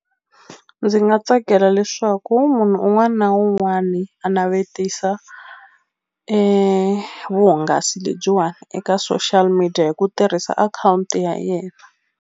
Ndzi nga tsakela leswaku munhu un'wani na un'wani a navetisa e vuhungasi lebyiwani eka social media hi ku tirhisa akhawunti ya yena.